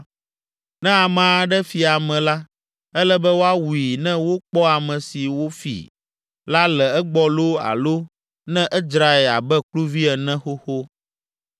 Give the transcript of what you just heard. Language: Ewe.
“Ne ame aɖe fi ame la, ele be woawui ne wokpɔ ame si wòfi la le egbɔ loo alo ne edzrae abe kluvi ene xoxo.